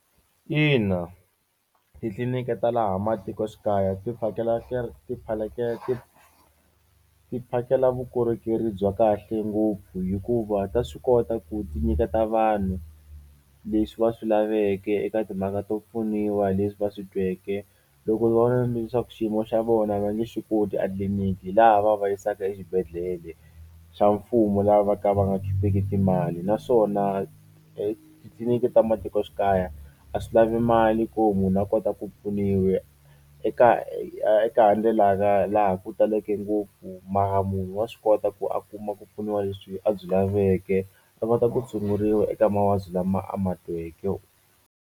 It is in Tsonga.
Ina titliliniki ta laha matikoxikaya tiphakela ti phakela vukorhokeri bya kahle ngopfu hikuva ta swi kota ku ti nyiketa vanhu leswi va swi laveke eka timhaka to pfuniwa hi leswi va swi tweke loko vona leswaku xiyimo xa vona va nge xikoti a tliliniki hi laha va va va yisaka exibedhlele xa mfumo la va ka va nga khipeki timali naswona etitliliniki ta matikoxikaya a swi lavi mali ku munhu a kota ku eka eka ndlela laha ku taleke ngopfu mara munhu wa swi kota ku a kuma ku pfuniwa leswi a byi laveke a kota ku tshunguriwa eka mavabyi lama a ma tweke.